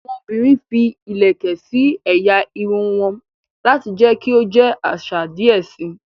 Awọn obìrin fí ilẹkẹ sí ẹ̀yà Irun won lati jẹ kí o jẹ àṣà díẹ síi